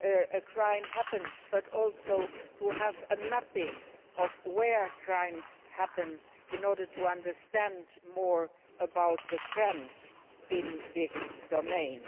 a crime has happened but also a mapping of where crimes happen in order to understand more about the trends in this domain.